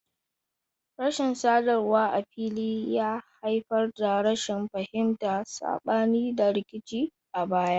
Rashin sadarwa a fili ya haifar da rashin fahimta, sabani, da rikici a baya.